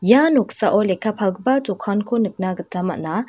ia noksao lekka palgipa dokanko nikna gita man·a.